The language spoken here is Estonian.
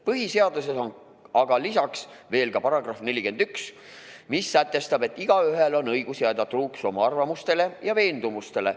Põhiseaduses on aga lisaks veel ka § 41, mis sätestab, et igaühel on õigus jääda truuks oma arvamustele ja veendumustele.